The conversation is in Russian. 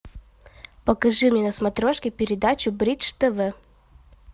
покажи мне на смотрешке передачу бридж тв